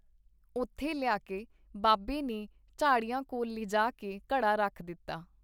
ਉੱਥੇ ਲਿਆ ਕੇ ਬਾਬੇ ਨੇ ਝਾੜੀਆਂ ਕੋਲ ਲਿਜਾ ਕੇ ਘੜਾ ਰੱਖ ਦਿੱਤਾ.